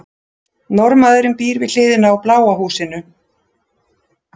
Norðmaðurinn býr við hliðina á bláa húsinu.